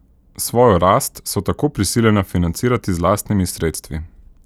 Svojo rast so tako prisiljena financirati z lastnimi sredstvi.